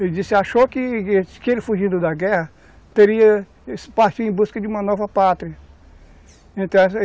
Ele disse, achou que ele ele fugindo da guerra, partiria em busca de uma nova pátria.